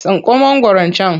Tsinko mangwaron can!